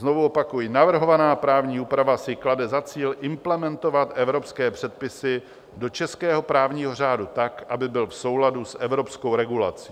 Znovu opakuji: "Navrhovaná právní úprav si klade za cíl implementovat evropské předpisy do českého právního řádu tak, aby byl v souladu s evropskou regulací.